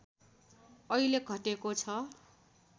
अहिले घटेको छ